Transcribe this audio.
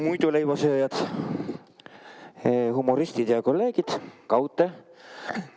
Muiduleivasööjad, humoristid ja kolleegid!